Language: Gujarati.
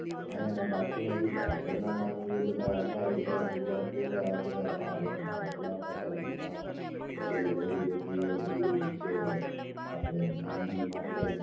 અહિયાંના બાકીનાં જે પાછળના કામ જે બધાં હતા એ બધાં પુરા કર્યા બધાં ભાડેના કપડાં પાછાં દીધાં jewellery બધી ઓલી જે આપડે મેનરી માટે